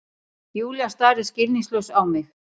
Júlía starir skilningslaus á mig.